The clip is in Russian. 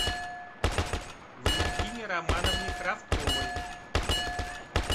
валентине романовне кравцовой